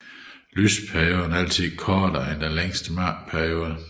Lysperioden er altid kortere end den længste mørkeperiode